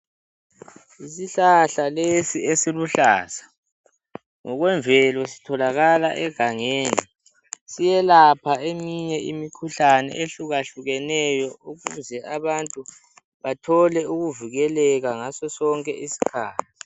Isihlahla lesi esiluhlaza. Ngokwemvelo sitholakala egangeni. Siyelapha eminye imikhuhlane, ehlukahlukeneyo. Ukuze abantu, bathole ukuvikeleka, ngaso sonke isikhathi.